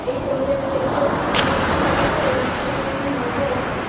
এই ছবিটাতে দেখতে পাচ্ছি এদিকে একটি জাহাজ আর ওদিক থেকে একটি নৌকা আসছে।